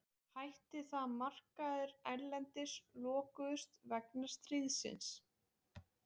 Hætti þegar markaðir erlendis lokuðust vegna stríðsins.